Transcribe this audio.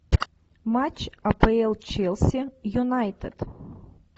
матч апл челси юнайтед